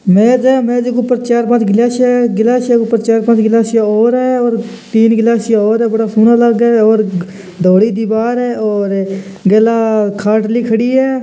मेज है मेज मे चार पाँच ग्लास है गिलासिया के ऊपर चार पाँच ग्लासिया और है और तीन ग्लासया और है बड़ा सोना लागे है और धोली दीवार है और गैला खाटली खड़ी है।